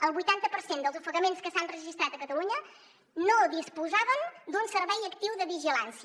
el vuitanta per cent dels ofegaments que s’han registrat a catalunya no disposaven d’un servei actiu de vigilància